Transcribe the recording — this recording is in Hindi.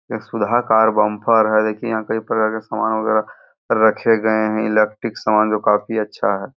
यह सुधाकर बम्पर है। दिखिए यहाँ पर कई प्रकार के सामान वगैरा रखे गए हैं। इलेक्ट्रिक सामान जो काफी अच्छा है।